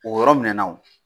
o yɔrɔ minɛna wo.